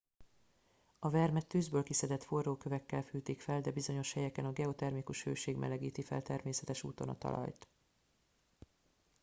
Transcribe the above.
a vermet tűzből kiszedett forró kövekkel fűtik fel de bizonyos helyeken a geotermikus hőség melegíti fel természetes úton a talajt